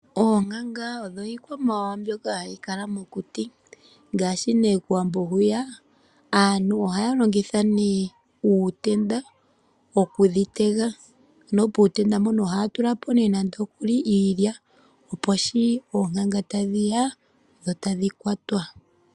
Oonkanga odho iikwamawawa mbyoka ha yi kala mokuti. KOwambo aantu ohaya longitha uutenda o ku dhi tega, puutenda mpono oha ya tula po iilya, opo shi oonkanga ta dhi ya dho tadhi kwatwa.